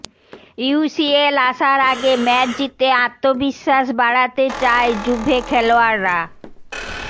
UCL আসার আগে match জিতে আত্মবিশ্বাস বাড়াতে চায় জুভে খেলোয়াড়রা